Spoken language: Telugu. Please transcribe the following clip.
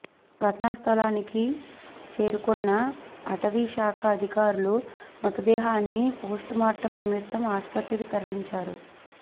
ఘటనాస్థలికి చేరుకున్న అటవీశాఖ అధికారులు మృతదేహాన్ని పోస్ట్మార్టం నిమిత్తం ఆసుపత్రికి తరలించారు